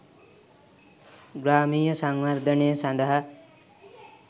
ග්‍රාමීය සංවර්ධනය සඳහා